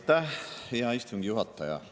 Aitäh, hea istungi juhataja!